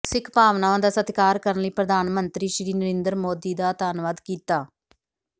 ਸਿੱਖ ਭਾਵਨਾਵਾਂ ਦਾ ਸਤਿਕਾਰ ਕਰਨ ਲਈ ਪ੍ਰਧਾਨ ਮੰਤਰੀ ਸ੍ਰੀ ਨਰਿੰਦਰ ਮੋਦੀ ਦਾ ਧੰਨਵਾਦ ਕੀਤਾ